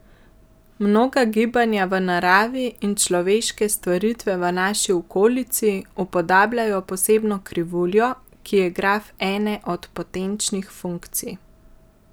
Mnoga gibanja v naravi in človeške stvaritve v naši okolici upodabljajo posebno krivuljo, ki je graf ene od potenčnih funkcij.